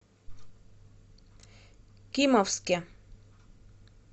кимовске